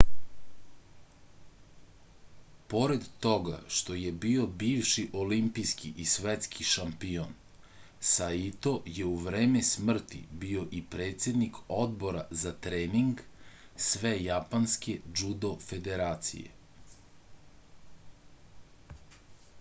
pored toga što je bio bivši olimpijski i svetski šampion saito je u vreme smrti bio i predsednik odbora za trening svejapanske džudo federacije